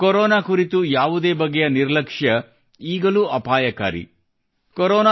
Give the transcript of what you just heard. ಆದರೆ ಕೊರೊನಾ ಕುರಿತು ಯಾವುದೇ ಬಗೆಯ ನಿರ್ಲಕ್ಷ ಈಗಲೂ ಅಪಾಯಕಾರಿ